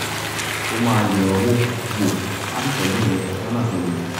ó máa yẹ̀ ọ́ wò wò á sì tọ́jú ẹ lọ́nà tó yẹ